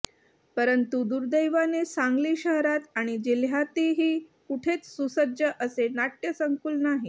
परंतु दुर्दैवाने सांगली शहरात आणि जिल्ह्यातही कुठेच सुसज्ज असे नाट्यसंकुल नाही